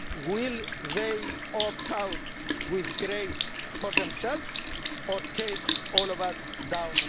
Will they opt out with grace for themselves or take all of us down with them?